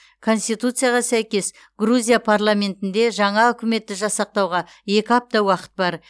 конституцияға сәйкес грузия парламентінде жаңа үкіметті жасақтауға екі апта уақыт бар